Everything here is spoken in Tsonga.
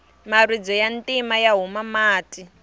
maribye ya ntima ya huma mati